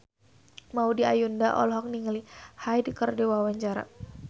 Maudy Ayunda olohok ningali Hyde keur diwawancara